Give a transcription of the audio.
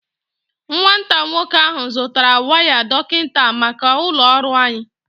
Nwata nwoke ahu zutara waya ndọtị maka ulo ọrụ anyi